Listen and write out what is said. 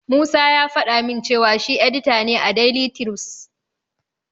Musa ya faɗa min cewa shi edita ne a daili tirus.